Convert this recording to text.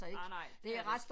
Nej nej det er det ikke